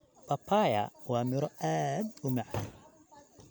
Papaya waa miro aad u macaan.